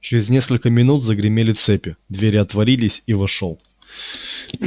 через несколько минут загремели цепи двери отворились и вошёл